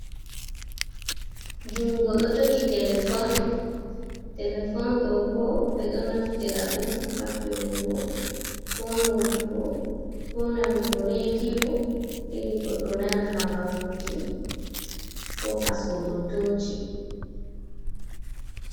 Jungo ɗo jogi telefon, telefon ɗo bo ɓe ɗo naftira ɗum hafiyugo, ko notugo, ko nanugo rediyo, irigo ɗo nana habaruji, ko haskugo toshi.